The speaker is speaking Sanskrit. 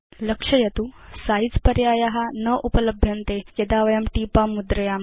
लक्षयतु यत् सिझे पर्याया न उपलभ्यन्ते यदा वयं टीपां मुद्रयाम